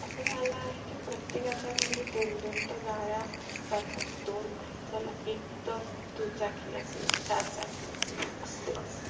अस झाले आहे की प्रत्येकाच्या घरी दोन दोन तर गाड्या असतातच दोन नाही एक तर दुचाकी असेल चारचाकी असेल